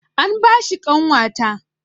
An ba shi ƙanwata